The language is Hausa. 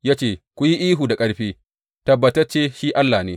Ya ce, Ku yi ihu da ƙarfi, tabbatacce shi allah ne!